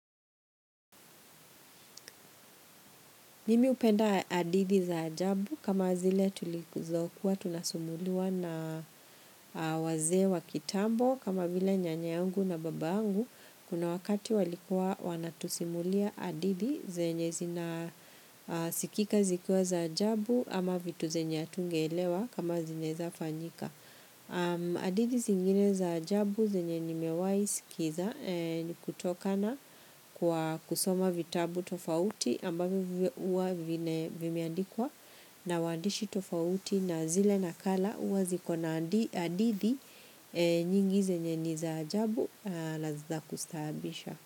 Mimi hupenda hadithi za ajabu kama zile tulizokuwa tunasumuliwa na wazee wa kitambo kama vile nyanyangu na baba angu kuna wakati walikuwa wanatusimulia hadithi zenye zina sikika zikuwa za ajabu ama vitu zenye hatungeelewa kama zinaeza fanyika. Hadithi zingine za ajabu zenye nimewaisikiza ni kutoka na kwa kusoma vitabu tofauti ambavyo huwa vimeandikwa na waandishi tofauti na zile nakala huwa zikona hadithi nyingi zenye ni za ajabu na nizakustahabisha.